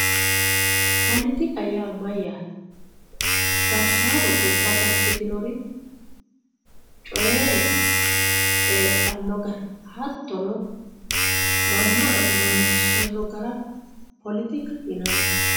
poletika yaa mayaate gashaano gobba gashitinor coye coyiixanno gara hattono manna amansiissanno gara poletikaho yinanni